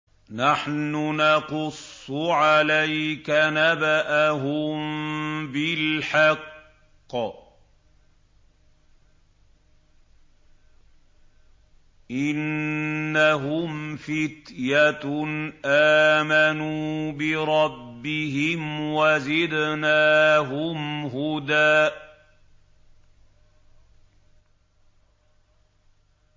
نَّحْنُ نَقُصُّ عَلَيْكَ نَبَأَهُم بِالْحَقِّ ۚ إِنَّهُمْ فِتْيَةٌ آمَنُوا بِرَبِّهِمْ وَزِدْنَاهُمْ هُدًى